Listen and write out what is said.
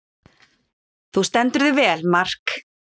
Þú stendur þig vel, Mark!